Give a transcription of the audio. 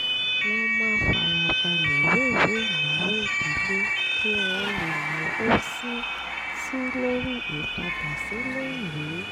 wọ́n máa ń fara balẹ̀ wéwèé ìnáwó ìdílé kí wọ́n lè náwó sí í sí í lórí ìpadà sílé ìwé